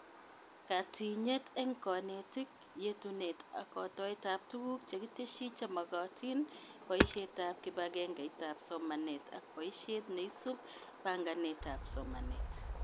Katinyet eng konetik: yetunet ak kotoetab tuguk chekitesyi chemagatin, boishetab kibegengeitab somanet ak boishet neisub baganetab somanet